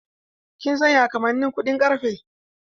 Kin san ya kamannin kuɗin karfe?